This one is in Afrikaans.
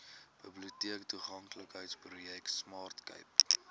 biblioteektoeganklikheidsprojek smart cape